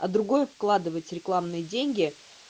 а другое вкладывать рекламные деньги